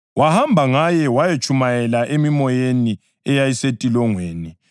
wahamba ngaye wayatshumayela emimoyeni eyayisentolongweni yona